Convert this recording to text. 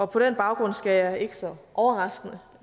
på den baggrund skal jeg ikke så overraskende